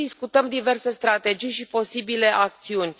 Acum discutăm diverse strategii și posibile acțiuni.